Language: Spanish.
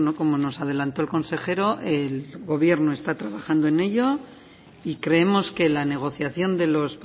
como nos adelantó el consejero el gobierno está trabajando en ello y creemos que la negociación de los